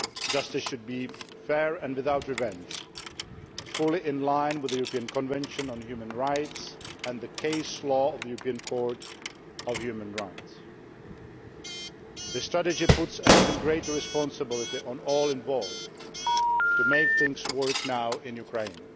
Justice should be fair and without revenge, fully in line with the European Convention on Human Rights and the caselaw of the European Court of Human Rights. This tragedy puts an even greater responsibility on all involved to make things work now in Ukraine.